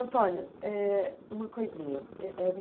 Antônio, é uma coisinha.